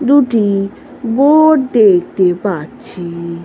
দুটি বোট দেখতে পাচ্ছি ।